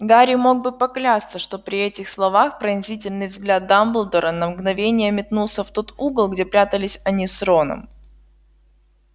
гарри мог бы поклясться что при этих словах пронзительный взгляд дамблдора на мгновение метнулся в тот угол где прятались они с роном